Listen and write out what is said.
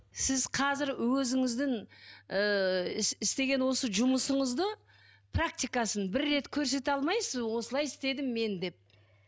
сіз қазір өзіңіздің ыыы істеген осы жұмысыңызды практикасын бір рет көрсете алмайсыз ба осылай істедім мен деп